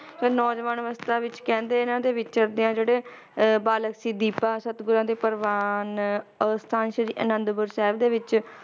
ਫਿਰ ਨੌਜਵਾਨ ਅਵਸਥਾ ਵਿਚ ਕਹਿੰਦੇ ਇਹਨਾਂ ਦੇ ਵਿਚਰਦਿਆਂ ਜਿਹੜੇ ਅਹ ਬਾਲਕ ਸੀ ਦੀਪਾ, ਸਤਿਗੁਰਾਂ ਦੇ ਪ੍ਰਵਾਨ, ਅਸਥਾਨ ਸ਼੍ਰੀ ਅਨੰਦਪੁਰ ਸਾਹਿਬ ਦੇ ਵਿਚ,